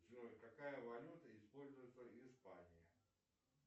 джой какая валюта используется в испании